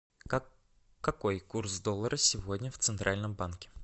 какой курс доллара сегодня в центральном банке